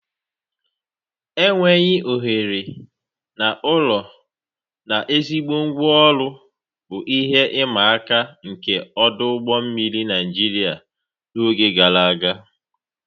Enweghị ohere na ụlọ na ezigbo ngwa ọrụ bụ ihe ịma aka nke ọdụ ụgbọ mmiri Nigeria n'oge gara aga.